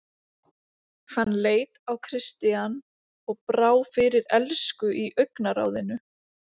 Hann leit á Christian og brá fyrir elsku í augnaráðinu.